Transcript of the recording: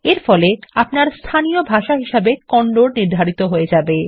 এরফলে আপনার স্থানীয় ভাষা হিসাবে কন্নড নির্ধারিত হয়ে যাবে